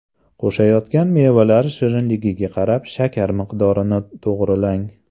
Qo‘shayotgan mevalar shirinligiga qarab shakar miqdorini to‘g‘rilang.